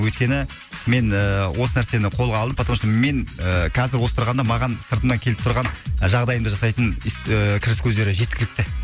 өйткені мен ыыы осы нәрсені қолға алдым потому что мен ы қазір осы тұрғанда маған сыртымнан келіп тұрған жағдайымды жасайтын ыыы кіріс көздері жеткілікті